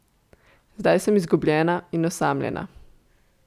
Zdaj sem izgubljena in osamljena.